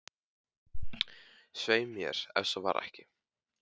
Svei mér, ef svo var ekki.